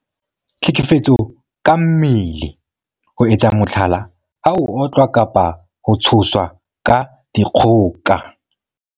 Tlhekefetso ka mmele- ho etsa mohlala, ha o otlwa kapa ho tshoswa ka dikgoka.